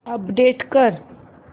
update कर